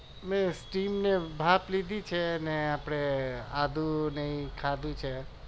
મેં steam ની ભાપ લીધી છે અને આપણે આદુને એ ખાધું છે